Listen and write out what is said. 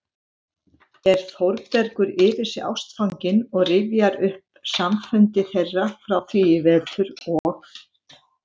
er Þórbergur yfir sig ástfanginn og rifjar upp samfundi þeirra frá því í vetur og